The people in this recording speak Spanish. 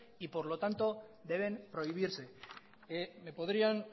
y por lo tanto deben prohibirse me podrían